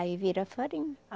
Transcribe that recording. Aí vira farinha.